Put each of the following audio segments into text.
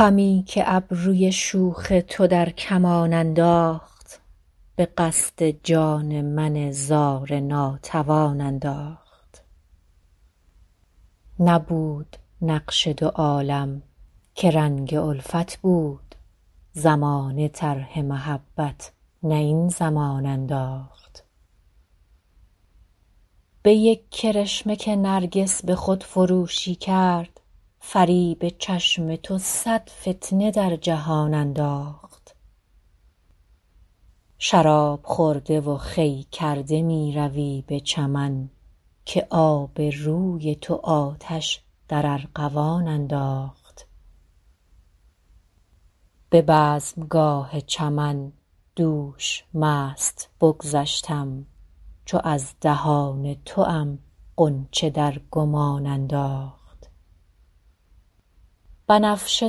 خمی که ابروی شوخ تو در کمان انداخت به قصد جان من زار ناتوان انداخت نبود نقش دو عالم که رنگ الفت بود زمانه طرح محبت نه این زمان انداخت به یک کرشمه که نرگس به خودفروشی کرد فریب چشم تو صد فتنه در جهان انداخت شراب خورده و خوی کرده می روی به چمن که آب روی تو آتش در ارغوان انداخت به بزمگاه چمن دوش مست بگذشتم چو از دهان توام غنچه در گمان انداخت بنفشه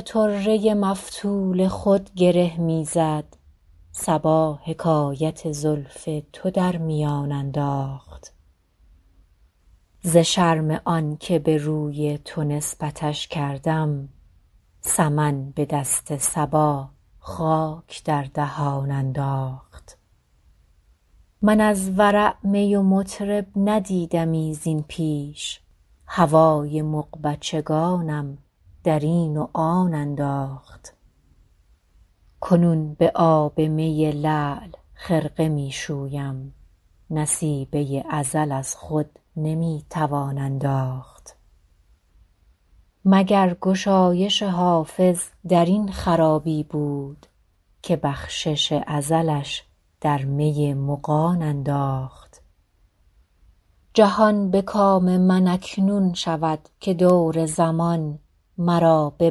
طره مفتول خود گره می زد صبا حکایت زلف تو در میان انداخت ز شرم آن که به روی تو نسبتش کردم سمن به دست صبا خاک در دهان انداخت من از ورع می و مطرب ندیدمی زین پیش هوای مغبچگانم در این و آن انداخت کنون به آب می لعل خرقه می شویم نصیبه ازل از خود نمی توان انداخت مگر گشایش حافظ در این خرابی بود که بخشش ازلش در می مغان انداخت جهان به کام من اکنون شود که دور زمان مرا به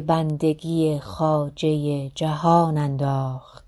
بندگی خواجه جهان انداخت